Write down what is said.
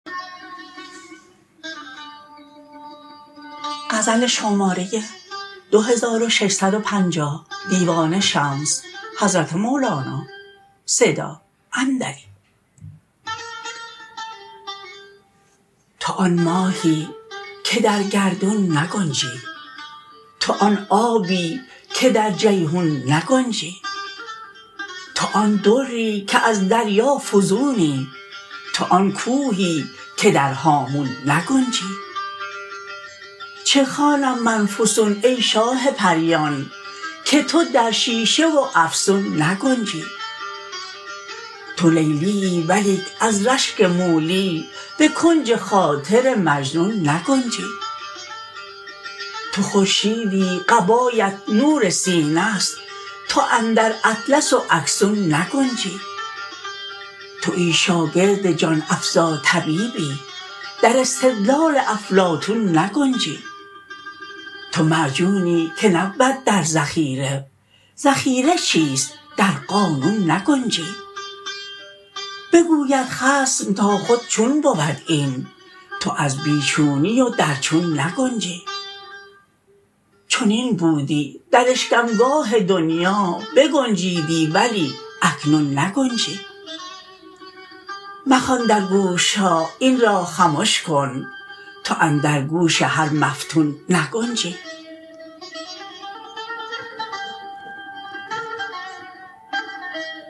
تو آن ماهی که در گردون نگنجی تو آن آبی که در جیحون نگنجی تو آن دری که از دریا فزونی تو آن کوهی که در هامون نگنجی چه خوانم من فسون ای شاه پریان که تو در شیشه و افسون نگنجی تو لیلیی ولیک از رشک مولی به کنج خاطر مجنون نگنجی تو خورشیدی قبایت نور سینه است تو اندر اطلس و اکسون نگنجی توی شاگرد جان افزا طبیبی در استدلال افلاطون نگنجی تو معجونی که نبود در ذخیره ذخیره چیست در قانون نگنجی بگوید خصم تا خود چون بود این تو از بی چونی و در چون نگنجی چنین بودی در اشکمگاه دنیا بگنجیدی ولی اکنون نگنجی مخوان در گوش ها این را خمش کن تو اندر گوش هر مفتون نگنجی